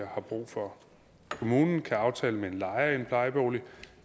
har brug for kommunen kan aftale med en lejer i en plejebolig